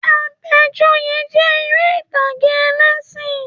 Àbẹ̀joyè jẹ́ eré ìtàgé ẹlẹ́ṣìn